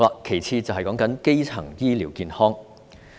其次是基層醫療健康。